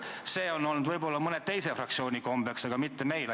See on olnud võib-olla mõnel teisel fraktsioonil kombeks, aga mitte meil.